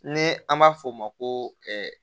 Ni an b'a f'o ma ko